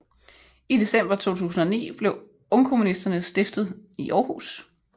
I december 2009 blev Ungkommunisterne stiftet i Århus